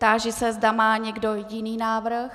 Táži se, zda má někdo jiný návrh.